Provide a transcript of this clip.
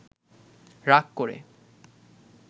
রাগ করে